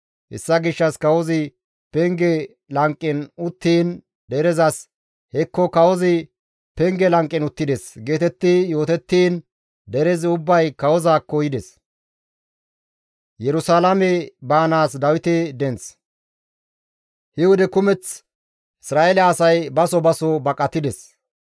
Hessa gishshas kawozi penge lanqen uttiin derezas, «Hekko kawozi penge lanqen uttides» geetetti yootettiin derezi ubbay kawozaakko yides. Yerusalaame Baanaas Dawite Denth He wode kumeth Isra7eele asay baso baso baqatides.